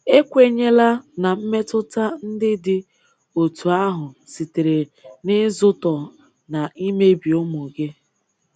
Ekwenyela na mmetụta ndị dị otu ahụ sitere n’ịzụtọ na imebi ụmụ gị.